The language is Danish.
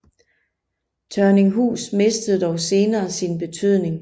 Tørninghus mistede dog senere sin betydning